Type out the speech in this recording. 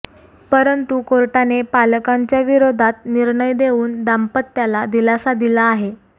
परंतु कोर्टाने पालकांच्या विरोधात निर्णय देऊन दाम्पत्याला दिलासा दिला आहे